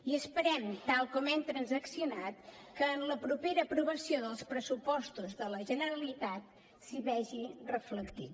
i esperem tal com hem transaccionat que en la propera aprovació dels pressupostos de la generalitat s’hi vegi reflectit